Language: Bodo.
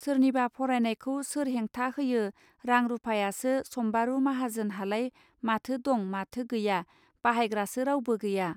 सोरनिबा फरायनायखौ सोर हेंथा होयो रां रूपायासो सम्बारू माहाजोन हालाय माथो दं माथो गैया बाहायग्रासो रावबो गैया.